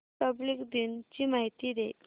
Republic दिन ची माहिती दे